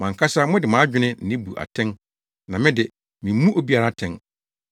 Mo ankasa mode mo adwene na ebu atɛn na me de, mimmu obiara atɛn.